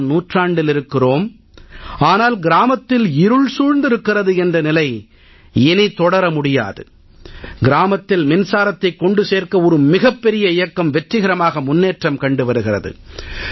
21ஆம் நூற்றாண்டில் இருக்கிறோம் ஆனால் கிராமத்தில் இருள் சூழ்ந்திருக்கிறது என்ற நிலை இனி தொடர முடியாது கிராமத்தில் மின்சாரத்தைக் கொண்டு சேர்க்க ஒரு மிகப் பெரிய இயக்கம் வெற்றிகரமாக முன்னேற்றம் கண்டு வருகிறது